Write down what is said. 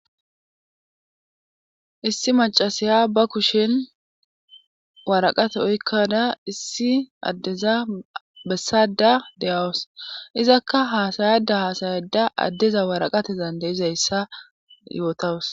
issi macasiya ba kushin waraqate oykkada issi addeza bessada deyawus izakka haasayada haasayada addeza waraqate zandayizayssa yootawus